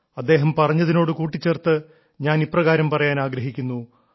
അദ്ദേഹം പറഞ്ഞതിനോടു കൂട്ടിച്ചേർത്ത് ഞാൻ ഇപ്രകാരം പറയാൻ ആഗ്രഹിക്കുന്നു